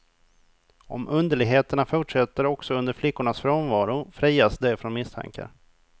Om underligheterna fortsätter också under flickornas frånvaro frias de från misstankar.